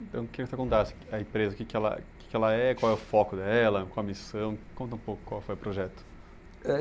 Então, eu queria que você contasse a empresa, o que que ela, o que que ela é, qual é o foco dela, qual é a missão, conta um pouco qual foi o projeto. É